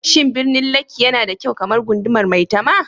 Shin birnin Lekki yana da kyau kamar gundumar Maitama?